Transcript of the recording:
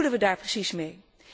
Wat bedoelen we daar precies mee?